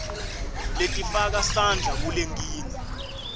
letifaka sandla kulenkinga